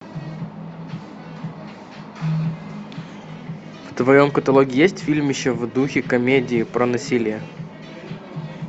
в твоем каталоге есть фильмище в духе комедии про насилие